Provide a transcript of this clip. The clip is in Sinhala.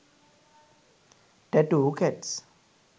tattoo cats